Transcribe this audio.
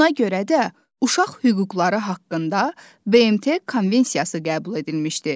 Buna görə də uşaq hüquqları haqqında BMT Konvensiyası qəbul edilmişdir.